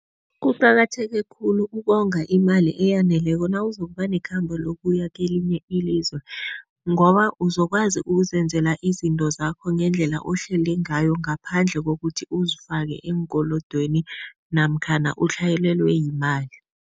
Kuqakatheke khulu ukonga imali eyaneleko nawuzokuba nekhamba lokuya kelinye ilizwe ngoba uzokwazi ukuzenzela izinto zakho ngendlela ohlele ngayo, ngaphandle kokuthi uzifake eenkolodweni namkhana utlhayelelwe yimali.